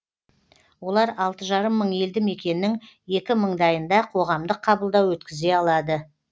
олар алты жарым мың елді мекеннің екі мыңдайында қоғамдық қабылдау өткізе алады